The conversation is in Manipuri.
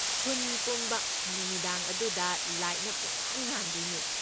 ꯈꯨꯟ ꯄꯨꯝꯕ ꯅꯨꯃꯤꯗꯥꯡ ꯑꯗꯨꯗ ꯂꯥꯏꯠꯅ ꯄꯨꯝꯉꯥꯟ ꯉꯥꯟꯗꯣꯏꯅꯦ꯫